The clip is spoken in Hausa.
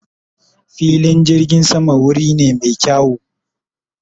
fillin jirgin sama wuri ne me kyawu